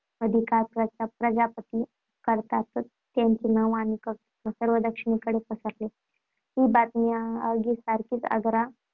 अधिकार प्रस्थापित करताच त्यांचे नाव आणि कर्तृत्व सर्व दक्षिणेकडे पसरले, ही बातमी आगीसारखी आगरा